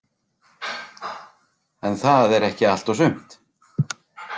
En það er ekki allt og sumt.